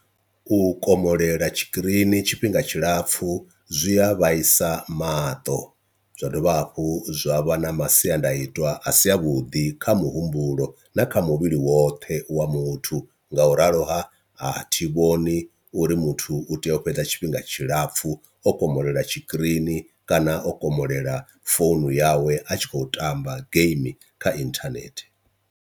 U komolela tshikirini tshifhinga tshilapfhu zwi a vhaisa maṱo zwa dovha hafhu zwa vha na masiandaitwa a si a vhuḓi kha muhumbulo na kha muvhili woṱhe wa muthu, nga u ralo ha a thi vhoni uri muthu u tea u fhedza tshifhinga tshilapfhu o komolela tshikirini kana o komolela founu yawe a tshi khou tamba game kha inthanethe.